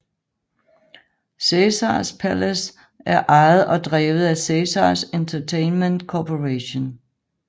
Caesars Palace er ejet og drevet af Caesars Entertainment Corporation